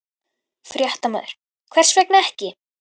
Fréttamaður: Hvers vegna ekki?